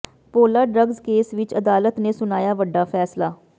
ਭੋਲਾ drugs case ਵਿਚ ਅਦਾਲਤ ਨੇ ਸੁਣਾਇਆ ਵੱਡਾ ਫੈਸਲਾ